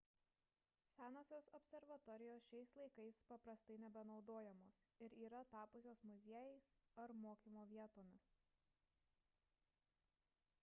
senosios observatorijos šiais laikais paprastai nebenaudojamos ir yra tapusios muziejais ar mokymo vietomis